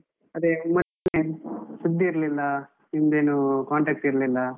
ಅದೇ ಮತ್ತೆ ಸುದ್ದಿ ಇರ್ಲಿಲ್ಲಾ, ನಿಮ್ದೇನು contact ಇರ್ಲಿಲ್ಲ.